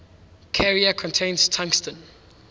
carrier contains tungsten